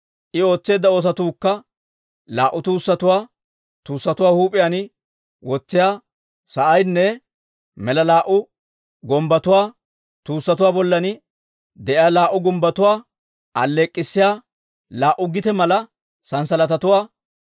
I ootseedda oosotuukka laa"u tuussatuwaa, tuussatuwaa huup'iyaan wotsiyaa sa'aynne mala laa"u gumbbotuwaa, tuussatuwaa bollay de'iyaa laa"u gumbbotuwaa alleek'k'issiyaa laa"u gite mala sanssalatatuwaa,